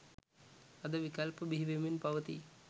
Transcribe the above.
අද විකල්ප බිහිවෙමින් පවතී